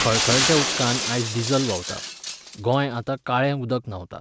खळखळत्या उदकांत आयज डिझल व्हांवता, गोंय आतां काळें उदक न्हांवता.